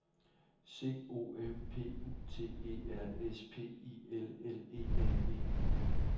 C O M P U T E R S P I L L E N E